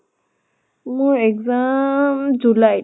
মোৰ exam july ত